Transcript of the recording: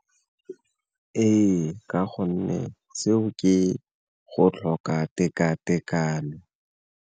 Ee, ka gonne seo ke go tlhoka tekatekano.